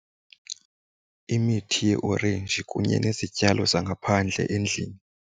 Imithi yeeorenji kunye nezityalo zangaphandle endlini.